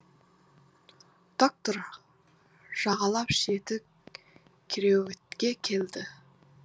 доктор жағалап кереуетке келді